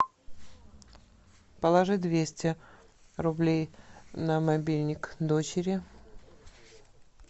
положи двести рублей на мобильник дочери